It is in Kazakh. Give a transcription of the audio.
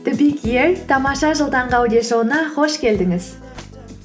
тамаша жыл таңғы аудиошоуына қош келдіңіз